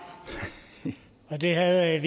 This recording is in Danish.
der